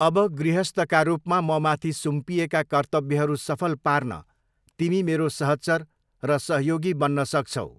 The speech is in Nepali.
अब गृहस्थका रूपमा ममाथि सुम्पिएका कर्तव्यहरू सफल पार्न तिमी मेरो सहचर र सहयोगी बन्न सक्छौ।